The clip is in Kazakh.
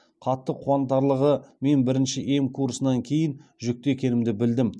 қатты қуантарлығы мен бірінші ем курсынан кейін жүкті екенімді білдім